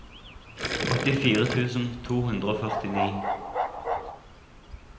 åttifire tusen to hundre og førtini